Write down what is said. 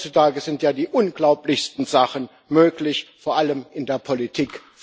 Heutzutage sind ja die unglaublichsten Sachen möglich, vor allem in der Politik.